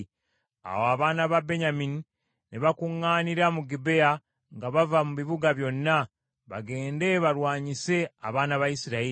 Awo abaana ba Benyamini ne bakuŋŋaanira mu Gibea nga bava mu bibuga byonna, bagende balwanyise abaana ba Isirayiri.